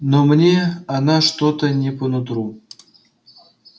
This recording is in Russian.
но мне она что-то не по нутру